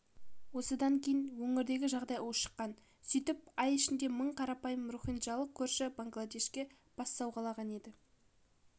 осыдан кейін өңірдегі жағдай ушыққан сөйтіп ай ішінде мың қарапайым рохинджалық көрші бангладешке бас сауғалаған еді